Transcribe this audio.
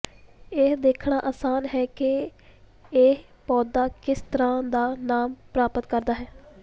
ਇਹ ਦੇਖਣਾ ਆਸਾਨ ਹੈ ਕਿ ਇਹ ਪੌਦਾ ਕਿਸ ਤਰ੍ਹਾਂ ਦਾ ਨਾਮ ਪ੍ਰਾਪਤ ਕਰਦਾ ਹੈ